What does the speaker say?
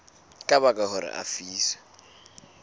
ka baka hore a lefiswe